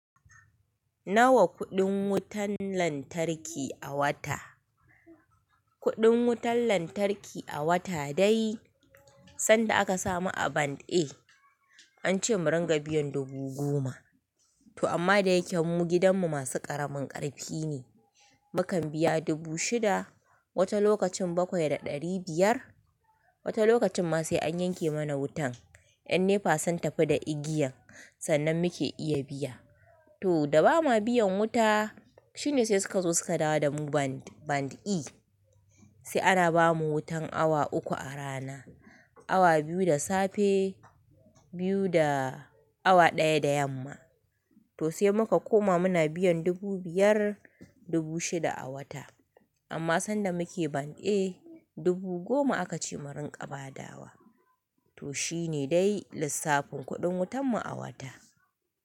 Nawa kuɗin wutan lantarki a wata. Kuɗin wutan lantarki a wata dai san da aka sa mu a band A an ce mu rinƙa biyan dubu goma. To amma da yake mu gidanmu masu ƙaramin ƙarfi ne. Mukan biya dubu shida, wata lokacin bakwai da ɗari biyar. Wata lokacin ma sai an yanke mana wutan, yan NEPA sun tafi da igiyan sannan muke iya biya. To da ba ma biyan wuta, shine sai suka zo suka dawo da mu band E. Sai ana ba mu wutan awa uku a rana, awa biyu da safe, biyu da awa ɗaya da yamma. To sai muka koma muna biyan dubu biyar, dubu shida a wata. Amma san da muke band A dubu goma aka ce mu rinƙa badawa. To shi ne dai lissafin kuɗin wutan mu a wata.